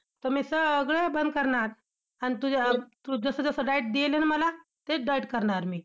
तर मी सगळं बंद करणार. अन तुझ्या, तू जसं जसं diet देणार ना मला, तेच diet करणार मी!